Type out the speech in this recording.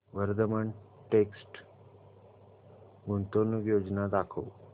Vardhman text गुंतवणूक योजना दाखव